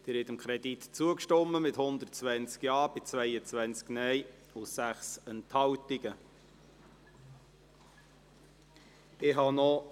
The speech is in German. Sie haben dem Kredit zugestimmt, mit 120 Ja- gegen 22 Nein-Stimmen bei 6 Enthaltungen zugestimmt.